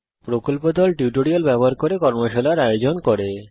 কথ্য টিউটোরিয়াল প্রকল্প দল কথ্য টিউটোরিয়াল ব্যবহার করে কর্মশালার আয়োজন করে